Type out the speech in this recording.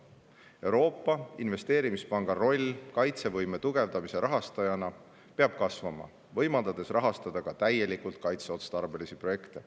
Euroopa Investeerimispanga roll kaitsevõime tugevdamise rahastajana peab kasvama, võimaldades rahastada ka täielikult kaitseotstarbelisi projekte.